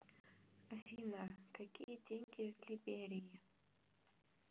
афина какие деньги в либерии